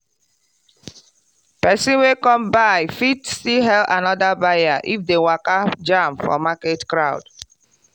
person wey come buy fit still hail another buyer if dem waka jam for market crowd.